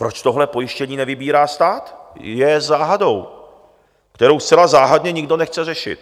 Proč tohle pojištění nevybírá stát, je záhadou, kterou zcela záhadně nikdo nechce řešit.